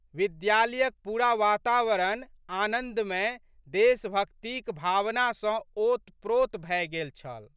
विद्यालयक पूरा वातावरण आनन्दमय देशभक्तिक भावना सँ ओतप्रोत भए गेल छल।